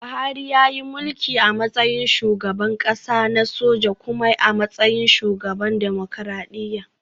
Buhari yayi mulki a matsayin shugaban kasa na soja kuma a matsayin shugaban dimokuradiyya